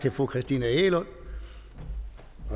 til fru christina egelund